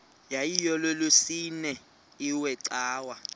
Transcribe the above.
yayilolwesine iwe cawa